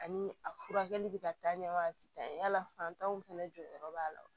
Ani a furakɛli bɛ ka taa ɲɛ waati la fantanw fɛnɛ jɔyɔrɔ b'a la wa